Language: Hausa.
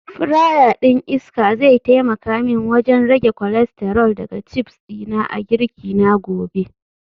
Fryer din iska zai taimaka min wajen rage cholesterol daga chips dina a girki na gobe